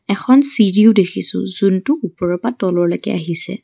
এখন চিৰিও দেখিছোঁ যোনটো ওপৰৰ পৰা তললৈকে আহিছে।